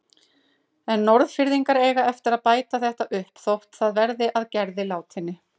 En Norðfirðingar eiga eftir að bæta þetta upp þótt það verði að Gerði látinni.